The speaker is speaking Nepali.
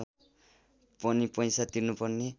पनि पैसा तिर्नुपर्ने